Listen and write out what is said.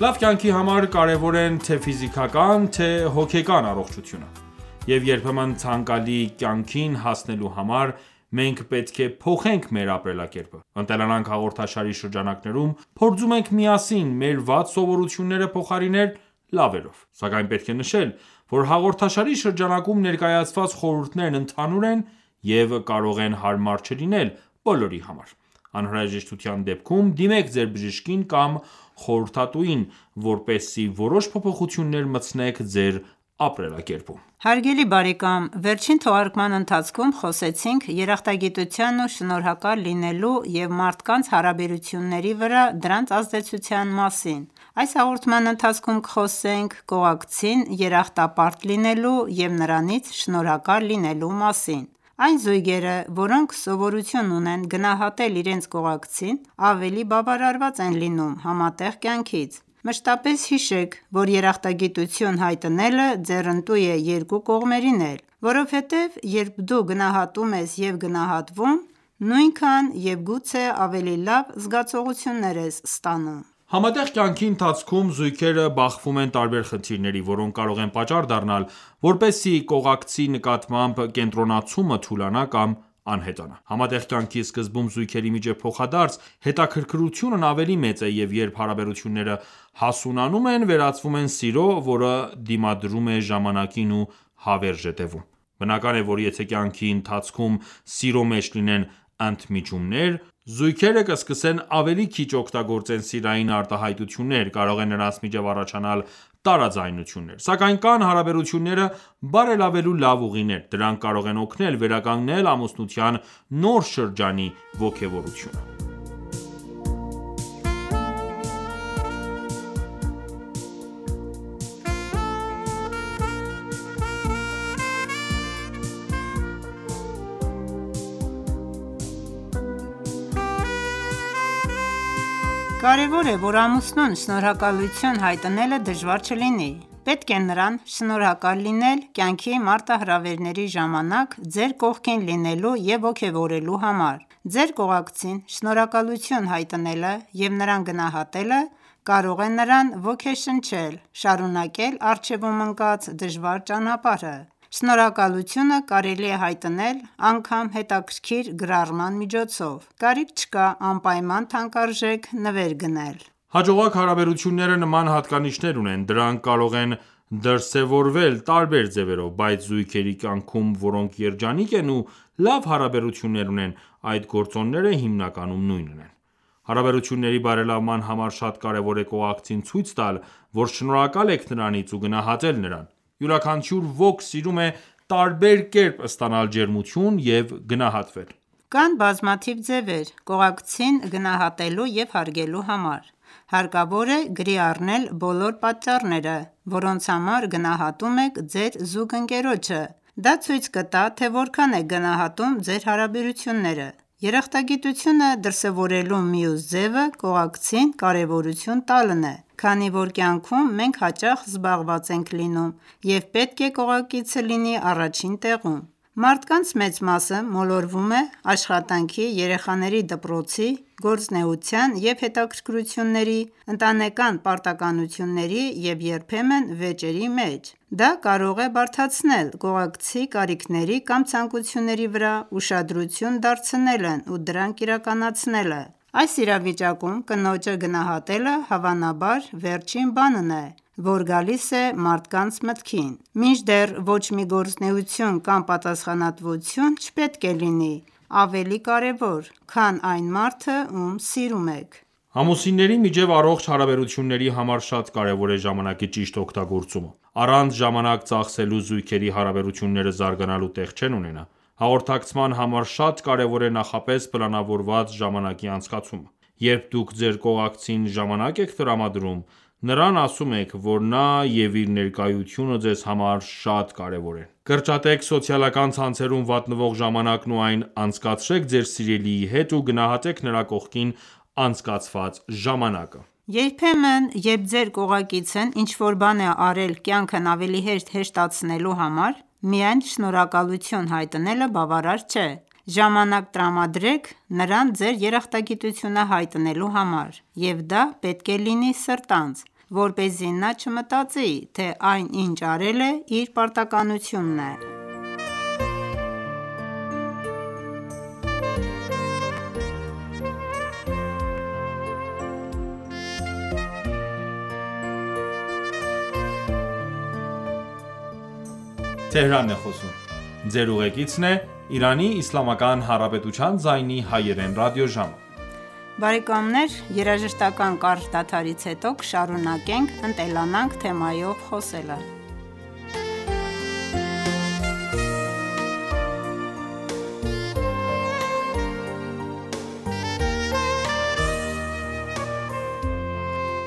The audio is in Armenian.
Լավ կյանքի համար կարևոր են թե ֆիզիկական թե հոգեկան առողջությունը: Եվ երբեմն ցանկալի կյանքին հասնելու համար մենք պետք է փոխենք մեր ապրելակերպը:«Ընտելանանք» հաղորդաշարի շրջանակներում փորձում ենք միասին մեր վատ սովորությունները փոխարինել լավերով: Սակայն պետք է նշել, որ հաղորդաշարի շրջանակներում ներկայացված խորհուրդներն ընդհանուր են, կարող են հարմար չլինել բոլորի համար: Անհրաժեշտության դեպքում դիմեք ձեր բժշկին կամ խորհրդատուին, որպեսզի որոշ փոփոխություններ մտցնեք ձեր ապրելակերպում: Հարգելի բարեկամ վերջին թողարկման ընթացքում խոսեցնք երախտագիտության ու շնորհակալ լինելու և մարդկանց հարաբերությունների վրա դրանց ազդեցության մասին: Այս հաղորդման ընթացքում կխոսենք կողակցին երախտապարտ լինելու և նրանից շնորհակալ լինելու մասին: Այն զույգերը, որոնք սովորություն ունեն գնահատել իրենց կողակցին, ավելի բավարարված են լինում համատեղ կյանքից: Մշտապես հիշեք, որ երախտագիտություն հայտնելը ձեռնտու է երկու կողմերին էլ: Որովհետև երբ դու գնահատում ես և գնահատվում, նույնքան և գուցե ավելի լավ զգացողություններ ես ստանում: Համատեղ կյանքի ընթացքում զույգերը բախվում են տարբեր խնդիրների, որոնք կարող են պատճառ դառնալ, որպեսզի կողակցի նկատմամբ կենտրոնացումը թուլանա կամ անհետանա: Համատեղ կյանքի սկզբում զույգերի միջև փոխադարձ հետաքրքրությունն ավելի մեծ է: Եվ երբ հարաբերությունները հասունանում են, վերածվում են սիրո, որը դիմադրում է ժամանակին ու հավերժ է տևում: Բնական է, որ եթե կյանքի ընթացքում սիրո մեջ լինեն ընդմիջումներ, զույգերը սկսեն ավելի քիչ օգտագործեն սիրային արտահայտություններ, կարող է նրանց միջև առաջանալ տարաձայնություններ: Սակայն կան հարաբերությունները բերալավելու լավ ուղիներ: Դրանք կարող են օգնել վերականգնել ամուսնության նոր շրջանի ոգևորությունը: Կարևոր է, որ ամուսնուն շնորհակալություն հայտնելը դժվար չլինի: Պետք է նրան շնորհակալ լինել կյանքի մարտահրավերների ժամանակ ձեր կողքին լինելու և ոգևորելու համար: Ձեր կողակցին շնորհակալություն հայտնելը և նրան գնահատելը կարող է նրան ոգեշնչել շարունակել առջևում ընկած դժվար ճանապարհը: Շնորհակալությունը կարելի է հայտնել անգամ հետաքրիքր գրառման միջոցով: Կարիք չկա անպայման թանկարժեք նվեր գնել: Հաջողակ հարաբերությունները նման հատկանիշներ ունեն: Դրանք կարող են դրսևորվել տարբեր ձևերով, բայց զույգերի կյանքում, որոնք երջանիկ են ու լավ հարաբերություններ ունեն, այդ գործոնները հիմնականում նույնն են: Հարաբերությունների բարելավման համար շատ կարևոր է կողակցին ցույց տալ, որ շնորհակալ եք նրանից ու գնահատել նրան: Յուրաքանչյուր ոք սիրում է տարբեր կերպ ստանալ ջերմություն և գնահատվել: Կան բազմաթիվ ձևեր՝ կողակցին գնահատելու և հարգելու համար: Հարկավոր է գրի առնել բոլոր պատճառները, որոնց համար գնահատում եք ձեր զուգընկերոջը: Դա ցույց կտա, թե որքան եք գնահատում ձեր հարաբերությունները: Երախտագիտությունը դրսևորելու մյուս ձևը կողակցին կարևորություն տալն է, քանի որ կյանքում մենք հաճախ զբաղված ենք լինում և պետք է կողակիցը լինի առաջին տեղում: Մարդկանց մեծ մասը մոլորվում է աշխատանքի, երեխաների դպրոցի, գործունեության և հետաքրքրությունների, ընտանեկան պարտականությունների և երբեմն վեճերի մեջ: Դա կարող է բարդացնել կողակցի կարիքների կամ ցանկությունների վրա ուշադրություն դարձնելն ու դրանք իրականացնելը: Այս իրավիճակում կնոջը գնահատելը, հավանաբար, վերջին բանն է, որ գալիս է մարդկանց մտքին։ Մինչդեռ ոչ մի գործունեություն կամ պատասխանատվություն չպետք է լինի ավելի կարևոր, քան այն մարդը, ում սիրում եք: Ամուսինների միջև առողջ հաաբերությունների համար շատ կարևոր է ժամանակի ճիշտ օգտագործումը: Առանց ժամանակ ծախսելու զույգերի հարաբերությունները զարգանալու տեղ չեն ունենա: Հաղորդակցման համար շատ կարևոր է նախապես պլանավորված ժամանակի անցկացումը: Երբ դուք ձեր կողակցին ժամանակ եք տրամադրում, նրան ասում եք, որ նա և իր ներկայությունը ձեզ համար շատ կարևւոր են: Կրճատեք սոցիալական ցանցերում վատնվող ժամանակն ու այն անցկացրեք ձեր սիրելիի հետ ու գնահատեք նրա կողքին անցկացված ժամանակը: Երբեմն, երբ ձեր կողակիցն ինչ որ բան է արել կյանքն ավելի հեշտացնելու համար, միայն շնորհակալություն հայտնելը բավարար չէ: Ժամանակ տրամադրեք՝ նրան ձեր երախտագիտությունը հայտնելու համար: Եվ դա պետք է լինի սրտանց, որպեսզի նա չմտածի, թե այն, ինչ արել է, իր պարտականությունն է: